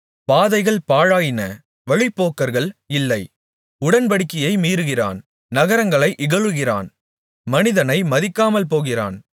பாதைகள் பாழாயின வழிப்போக்கர்கள் இல்லை உடன்படிக்கையை மீறுகிறான் நகரங்களை இகழுகிறான் மனிதனை மதிக்காமல் போகிறான்